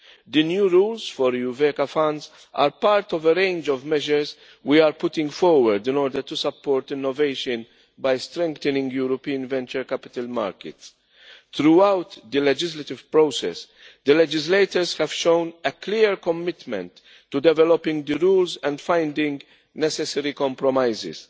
The new rules for EuVECA funds are part of a range of measures we are putting forward in order to support innovation by strengthening European venture capital markets. Throughout the legislative process, the legislators have shown a clear commitment to developing the rules and finding necessary compromises.